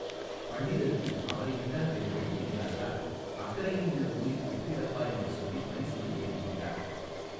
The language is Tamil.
பண்டிதருக்கு அவனை விட்டால் வேறு வழி தெரியாததால் அக்கரையில் உள்ள ஊரில் விட்டு விடப்பா என்று சொல்லிப் பரிசலில் ஏறிக்கொண்டார்.